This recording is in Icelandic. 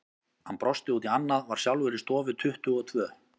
Hann brosti út í annað, var sjálfur í stofu tuttugu og tvö.